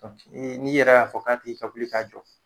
n'i yɛrɛ y'a fɔ k'a tigi ka wili k'a jɔ.